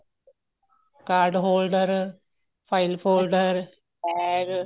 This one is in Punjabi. card holder file folder bag